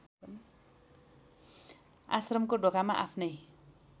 आश्रमको ढोकामा आफ्नै